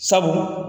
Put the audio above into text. Sabu